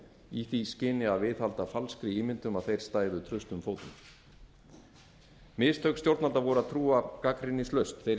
í því skyni að viðhalda falskri ímynd um að þeir stæðu traustum fótum mistök stjórnvalda voru að trúa gagnrýnislaust þeirri